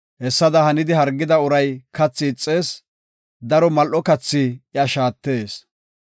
Hessada hanidi hargida uray kathi ixees; daro mal7o kathi iya shaatees.